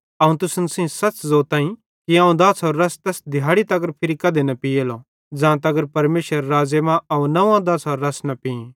अवं तुसन सेइं सच़ ज़ोतईं कि अवं दाछ़ारो रस तैस दिहाड़ी तगर फिरी कधी न पीलो ज़ां तगर परमेशरेरे राज़्ज़े मां अवं नंव्वो दाछ़ारे रस पीं